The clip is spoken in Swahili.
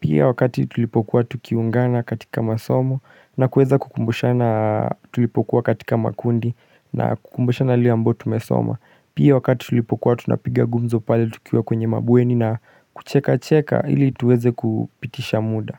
Pia wakati tulipokuwa tukiungana katika masomo na kuweza kukumbushana tulipokuwa katika makundi na kukumbushana yale ambayo tumesoma Pia wakati tulipokuwa tunapiga gumzo pale tukiwa kwenye mabweni na kucheka cheka ili tuweze kupitisha muda.